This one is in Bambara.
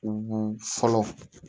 U fɔlɔ